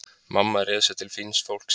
Mamma réð sig til fíns fólks í